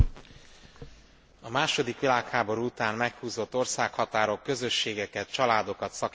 A második világháború után meghúzott országhatárok közösségeket, családokat szakítottak szét.